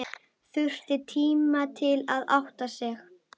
Þurfti tíma til að átta sig.